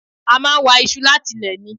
A máa wa iṣu láti ilẹ̀ ni